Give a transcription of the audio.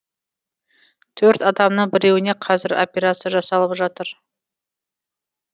төрт адамның біреуіне қазір операция жасалып жатыр